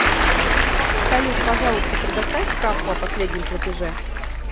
салют пожалуйста предоставь справку о последнем платеже